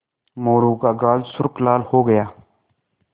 मोरू का गाल सुर्ख लाल हो गया